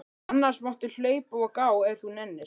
Annars máttu hlaupa og gá ef þú nennir.